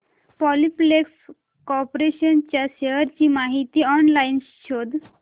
Polyplex corporation च्या shares ची माहिती ऑनलाइन शोध